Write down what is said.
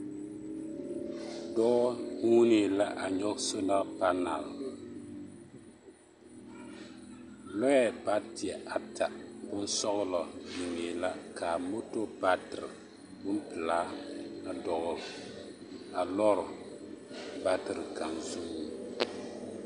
Dɔɔ huunee la a nyɔge sola panal lɔɛ bateɛ ata bonsɔgelɔ mine la ka moto batere bompelaa dɔgele a lɔre batere kaŋ zuŋ.